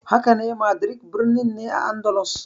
Hakane, Madrid birnin ne a Andalus.